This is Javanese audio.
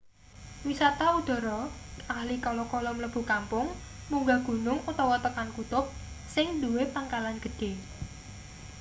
wisata udhara ahli kala-kala mlebu kampung munggah gunung utawa tekan kutub sing nduwe pangkalan gedhe